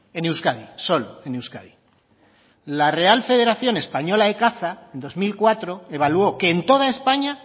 en euskadi solo en euskadi la real federación española de caza en dos mil cuatro evaluó que en toda españa